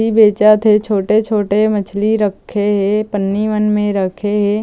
ली बेचत हे छोटे-छोटे मछली रखे हे पन्नी मन में रखे हे।